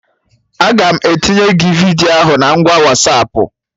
Aga m etinye gị vidiyo ahụ na ngwa Wasapụ